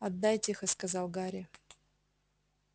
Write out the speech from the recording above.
отдай тихо сказал гарри